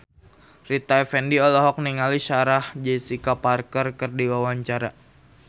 Rita Effendy olohok ningali Sarah Jessica Parker keur diwawancara